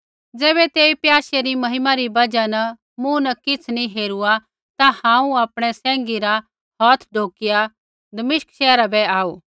ज़ैबै तेई प्याशै री महिमा री बजहा न मूँ न किछ़ नी हेरुआ ता हांऊँ आपणै सैंघी रा हौथ ढौकिया दमिश्क शैहरा बै आऊ